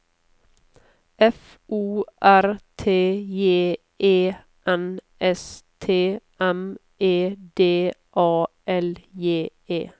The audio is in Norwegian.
F O R T J E N S T M E D A L J E